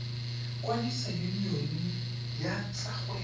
kwadisa yunione ya tsa kgwebo